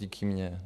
Díky mně.